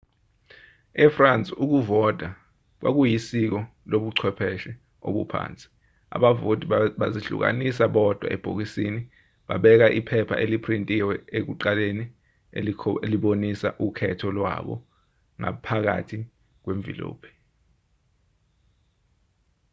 e-france ukuvota kwakuyisiko lobuchwepheshe obuphansi abavoti bazihlukanisa bodwa ebhokisini babeka iphepha eliphrintiwe ekuqaleni elibonisa ukhetho lwabo ngaphakathi kwemvilophi